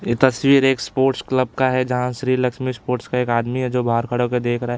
ये तस्वीर एक स्पोर्ट्स क्लब का है जहाँ श्री लक्ष्मी स्पोर्ट्स का एक आदमी है जो बाहर खड़ा होके देख रहा है।